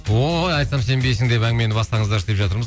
ой айтсам сенбейсің деп әңгімені бастаңыздаршы деп жатырмыз